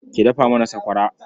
Ki dafa mana sakwara.